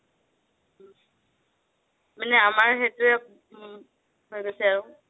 মানে আমাৰ সেইটোয়ে হৈ গৈছে আৰু